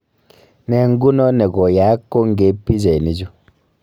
Ne nguno ne koyaak kongeiip pichainichu